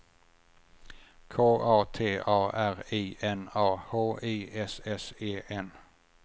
K A T A R I N A H I S S E N